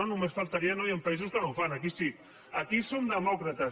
només faltaria hi han països que no ho fan aquí sí aquí som demòcrates